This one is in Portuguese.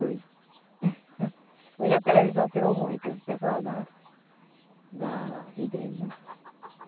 Hoje. Hoje a televisão tirou muito o pessoal das da igreja.